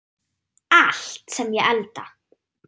Allt sem ég elda.